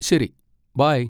ശരി, ബൈ.